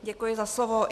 Děkuji za slovo.